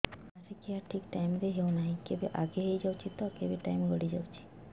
ମାସିକିଆ ଠିକ ଟାଇମ ରେ ହେଉନାହଁ କେବେ ଆଗେ ହେଇଯାଉଛି ତ କେବେ ଟାଇମ ଗଡି ଯାଉଛି